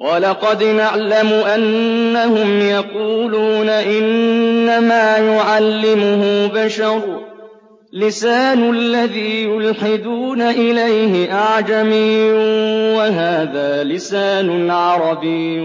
وَلَقَدْ نَعْلَمُ أَنَّهُمْ يَقُولُونَ إِنَّمَا يُعَلِّمُهُ بَشَرٌ ۗ لِّسَانُ الَّذِي يُلْحِدُونَ إِلَيْهِ أَعْجَمِيٌّ وَهَٰذَا لِسَانٌ عَرَبِيٌّ